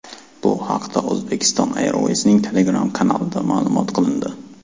Bu haqda Uzbekistan Airways’ning Telegram kanalida ma’lum qilindi .